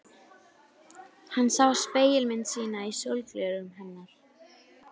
Þýskir kafbátar komu ekki nálægt Íslandi haustið og veturinn